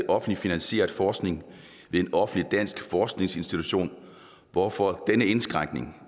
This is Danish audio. offentligt finansieret forskning ved en offentlig dansk forskningsinstitution hvorfor denne indskrænkning